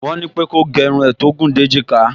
Wọ́n ní pé kó gẹ irun rẹ̀ tó gùn dé èjìká